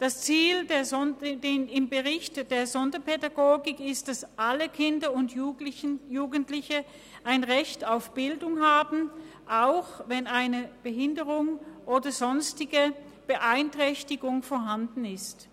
Das Ziel des Berichts zur Sonderpädagogik ist es, dass alle Kinder und Jugendlichen ein Recht auf Bildung haben, auch wenn eine Behinderung oder sonstige Beeinträchtigungen vorhanden sind.